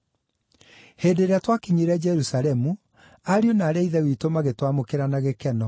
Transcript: Hĩndĩ ĩrĩa twakinyire Jerusalemu, ariũ na aarĩ a Ithe witũ magĩtwamũkĩra na gĩkeno.